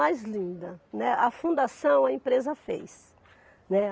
Mais linda, né. A fundação a empresa fez, né.